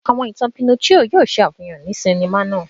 Àwọn ìtàn Pinocchio yóò ṣe àfihàn ní sinima náà.